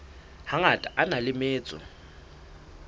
hangata a na le metso